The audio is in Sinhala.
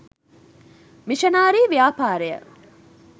මිෂනාරි ව්‍යාපාරය